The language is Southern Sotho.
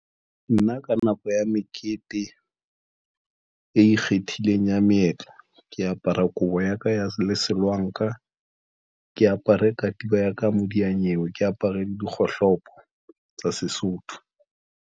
Nna ka nako ya mekete e ikgethileng ya meetlo. Ke apara kobo ya ka ya lesolanka ke apare katiba ya ka ya modiyanyewe, ke apare dikgohlopo tsa Sesotho.